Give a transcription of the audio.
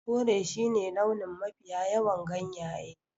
Kore shine launin mafiya yawan ganyayyakin